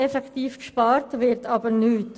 Effektiv gespart wird jedoch nichts.